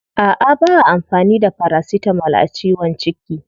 A'a ba'a amfani da paracetamol a ciwon ciki.